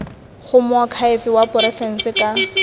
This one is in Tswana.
go moakhaefe wa porofense ka